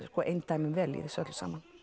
eindæmum vel í þessu öllu saman